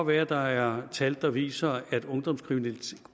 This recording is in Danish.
være at der er tal der viser at ungdomskriminaliteten